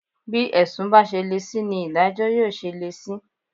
Bí ẹ̀sùn bá ṣe le sí ni ìdájọ́ yóò ṣe le sí